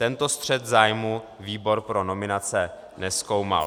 Tento střet zájmů výbor pro nominace nezkoumal.